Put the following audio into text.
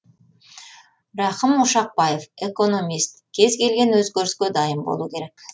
рахым ошақбаев экономист кез келген өзгеріске дайын болу керек